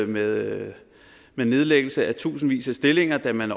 med nedlæggelsen af tusindvis af stillinger da man